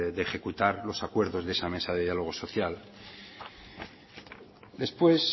de ejecutar los acuerdos de esa mesa de diálogo social después